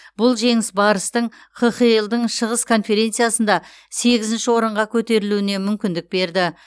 бұл жеңіс барыстың қхл дың шығыс конференциясында сегізінші орынға көтерілуіне мүмкіндік берді